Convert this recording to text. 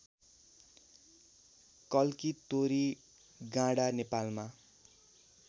कल्की तोरीगाँडा नेपालमा